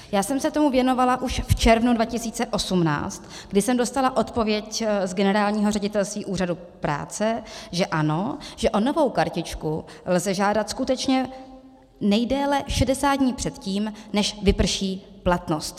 Já jsem se tomu věnovala už v červnu 2018, kdy jsem dostala odpověď z Generálního ředitelství Úřadu práce, že ano, že o novou kartičku lze žádat skutečně nejdéle 60 dní předtím, než vyprší platnost.